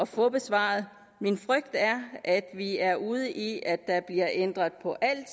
få besvaret min frygt er at vi er ude i at der bliver ændret på alt